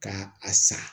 Ka a san